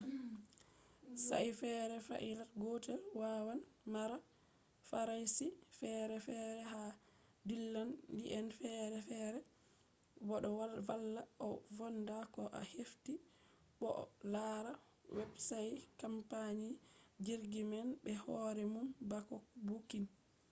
sa'i feere flait gootel waawan mara faraashi feere feere ha dillaali'en feere feere bo ɗo vallaa a foonda ko a hefti bo a laara websait kampani jirgi man be hoore mum bako buukin